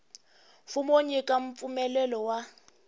mfumo wo nyika mpfumelelo wa